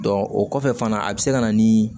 o kɔfɛ fana a bɛ se ka na ni